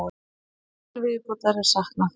Sjö til viðbótar er saknað.